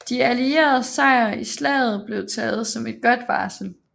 De allieredes sejr i slaget blev taget som et godt varsel